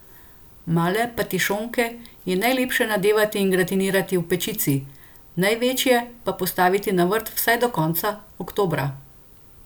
Male patišonke je najlepše nadevati in gratinirati v pečici, največje pa postaviti na vrt vsaj do konca oktobra.